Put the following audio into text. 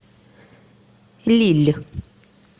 лилль